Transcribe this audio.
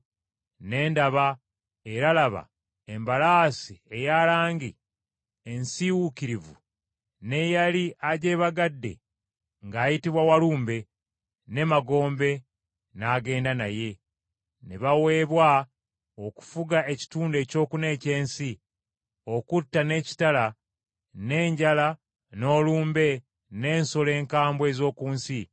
Ne ndaba, era laba, embalaasi ey’erangi ensiiwuukirivu n’eyali agyebagadde ng’ayitibwa Walumbe, ne Magombe n’agenda naye. Ne baweebwa okufuga ekitundu ekyokuna eky’ensi, okutta n’ekitala, n’enjala, n’olumbe, n’ensolo enkambwe ez’oku nsi.